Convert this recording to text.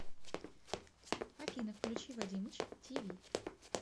афина включи вадимыч ти ви